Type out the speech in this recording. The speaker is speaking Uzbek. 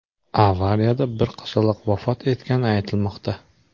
Avariyada bir qizaloq vafot etgani aytilmoqda.